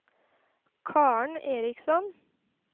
Karen Eriksson